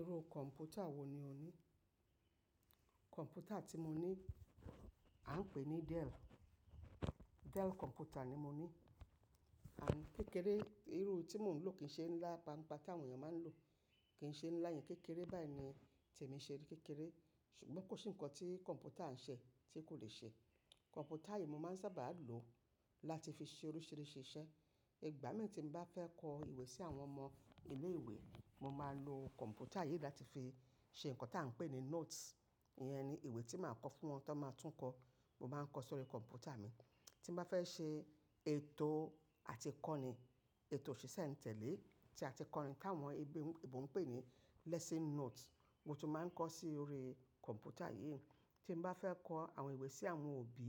Irú kọ̀npútà wò ní o ní? Kọ̀npútà tí mo ní à ń pè ní Dell. Dell kọ̀npútà ni mo ní. Àìní kékeré, irú tí mò ń lò kì ń ṣe ńlá, paapaa táwọn ènìyàn máa ń lò. Kì ń ṣe ńlá yẹn kékeré báyìí ni tèmi ṣe ré kékeré. Ṣùgbọ́n kò sí ǹkan tí kọ̀npútà ń ṣe tí kò lè ṣe. Kọ̀npútà yìí mo máa ń sábà lo láti fi ṣe oríṣiríṣi iṣẹ́. Ìgbà mìíràn tí mo bá fẹ́ kọ ìwé sí àwọn ọmọ ilé ìwé, mo máa lo kọ̀npútà yìí láti fi ṣe ǹkan tí à ń pè ní notes. Ìyẹn ni ìwé tí màá kọ fún wọn tí wọ́n máa tún kọ. Mo máa ń kọ sórí kọ̀npútà mi. Tí mo bá fẹ́ ṣe ètò àti kọ́ni, ètò ṣíṣẹ́ àti tẹ̀lé, tí a ti kọ́ni t'áwọn ẹbí, èèbó n pè ní lesson notes. Mo tún máa ń kọ sórí kọ̀npútà yìí. Tí mo bá fẹ́ kọ àwọn ìwé sí àwọn òbí,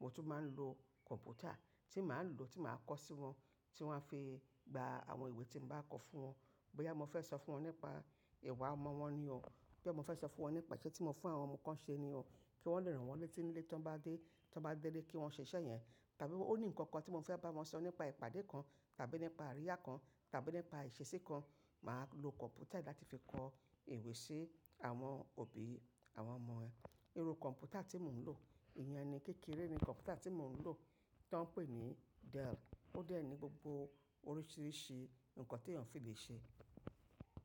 mo tún máa ń lo kọ̀npútà tí màá lò, tí màá kọ sórí wọn, tí wọ́n a fi gba àwọn ìwé tí mo bá kọ fún wọn. Boyà mo fẹ́ sọ fún wọn nípa ìwà ọmọ wọn ni o, boyà mo fẹ́ sọ fún wọn nípa iṣẹ́ tí mo fún àwọn ọmọ kan ṣe ni o, kí wọ́n lè ràn wọ́n létí nile tó bá dé, tó bá délé kí wọ́n ṣe iṣẹ́ yẹn. Tàbí ó ní ǹkan kan tí mo fẹ́ bá wọn sọ nípa ìpàdé kan, tàbí nípa àríyá kan, tàbí nípa ìṣesí kan, màá lo kọ̀npútà yìí láti fi kọ ìwé sí àwọn òbí àwọn ọmọ ẹ. Irú kọ̀npútà tí mò ń lò, ìyẹn ni kékeré ni kọ̀npútà tí mò ń lò tí wọ́n pè ní Dell. Ó dẹ̀ ní gbogbo oríṣiríṣi ǹkan tí èèyàn fi lè ṣe.